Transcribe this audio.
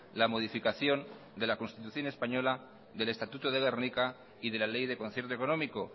la modificación de la constitución española del estatuto de gernika y de la ley de concierto económico